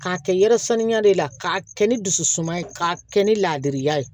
K'a kɛ yɛrɛ saniya de la k'a kɛ ni dusu suma ye k'a kɛ ni laadiriya ye